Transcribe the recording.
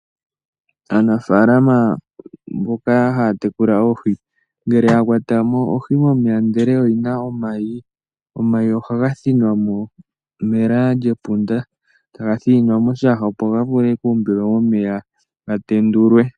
Aanafalama mboka haya tekula oohi ngele ya kwatamo oohi momeya ndele oyina omayi, ohaga thinwamo mela lyepunda taga thininwa moshiyaha eta guumbilwa momeya gayendulwe .